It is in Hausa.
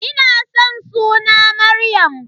Ina san suna Maryam.